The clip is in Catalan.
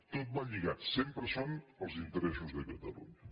tot va lligat sempre són els interessos de catalunya